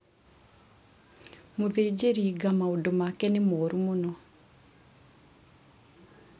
mũthĩnjĩri nga maũndũ make nĩ moru mũno